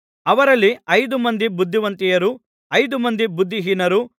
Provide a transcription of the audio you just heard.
ಅವರಲ್ಲಿ ಐದು ಮಂದಿ ಬುದ್ಧಿವಂತೆಯರು ಐದು ಮಂದಿ ಬುದ್ಧಿಹೀನರು